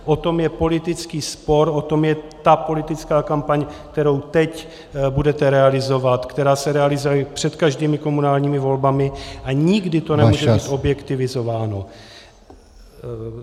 O tom je politický spor, o tom je ta politická kampaň, kterou teď budete realizovat, která se realizuje před každými komunálními volbami, a nikdy to nemůže být objektivizováno.